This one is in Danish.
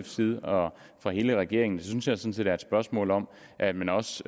side og fra hele regeringens jeg sådan set er et spørgsmål om at man også